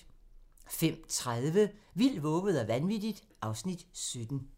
05:30: Vildt, vovet og vanvittigt (Afs. 17)